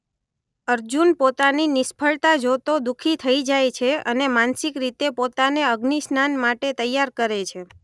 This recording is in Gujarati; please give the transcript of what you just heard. અર્જુન પોતાની નિષ્ફળતા જોતો દુ:ખી થઈ જાય છે અને માનસિક રીતે પોતાને અગ્નિસ્નાન માટે તૈયાર કરે છે.